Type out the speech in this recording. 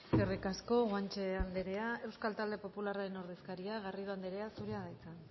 eskerrik asko guanche andrea euskal talde popularraren ordezkaria garrido andrea zurea da hitza